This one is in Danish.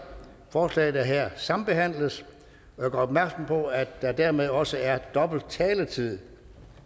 forslag der her sambehandles og jeg gør opmærksom på at der dermed også er dobbelt taletid